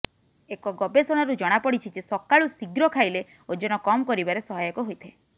ଏକ ଗବେଷଣାରୁ ଜଣାପଡ଼ିଛି ଯେ ସକାଳୁ ଶୀଘ୍ର ଖାଇଲେ ଓଜନ କମ୍ କରିବାରେ ସହାୟକ ହୋଇଥାଏ